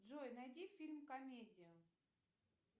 джой найди фильм комедию